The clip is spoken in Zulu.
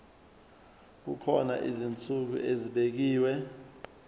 kukhona izinsuku ezibekiwe